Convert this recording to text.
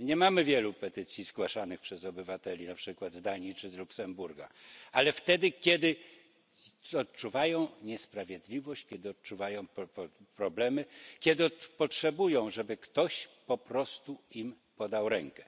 nie mamy wielu petycji zgłaszanych przez obywateli np. z Danii czy z Luksemburga ale wtedy, kiedy odczuwają niesprawiedliwość, kiedy mają problemy, kiedy potrzebują, żeby ktoś po prostu podał im rękę.